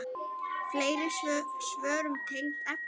Fleiri svör um tengd efni